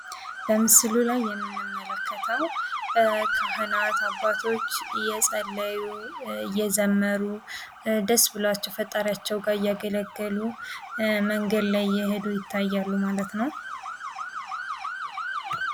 በምሥሉ ላይ የምንመለከተው ካህናት ፣ አባቶች እየጸለዩ እየዘመሩ ደስ ብሏቸው ፈጣሪያቸውን እያገለገሉ መንገድ ላይ የሄዱ ይታያሉ ማለት ነው።